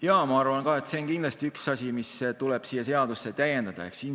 Jaa, ma arvan ka, et see on kindlasti üks asi, mida tuleb siin eelnõus täiendada.